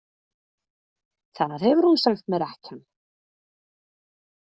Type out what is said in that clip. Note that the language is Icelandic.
Það hefur hún sagt mér, ekkjan.